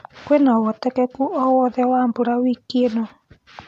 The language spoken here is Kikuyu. kwĩnaũhotekekũ o wothe wa mbũra wikiĩnõ